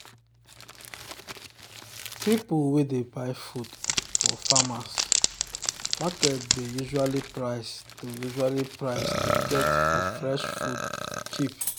people wey dey buy food for farmers' market dey usually price to usually price to get for fresh food cheap.